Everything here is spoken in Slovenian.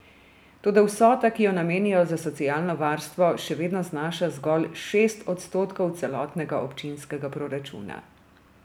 Toda vsota, ki jo namenijo za socialno varstvo, še vedno znaša zgolj šest odstotkov celotnega občinskega proračuna.